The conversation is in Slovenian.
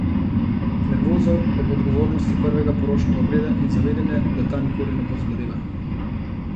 Nervoza ob odgovornosti prvega poročnega obreda in zavedanje, da ta nikoli ne bo zbledela.